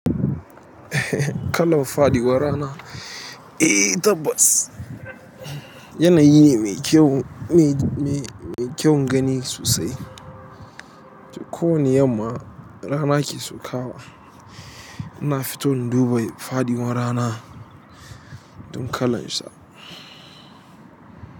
Kalar faɗuwar rana eh tabbas yanayi ne mai kyau gani me kyau gani sosai ko wane yamma rana ke saukawa, ina fito in duba fadiwar rana don kalan sa.